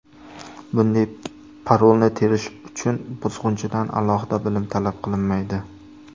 Bunday parolni terish uchun buzg‘unchidan alohida bilim talab qilinmaydi.